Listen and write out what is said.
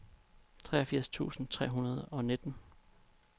treogfirs tusind tre hundrede og nitten